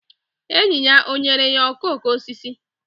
Enyi ya o nyere ya okooko osisi?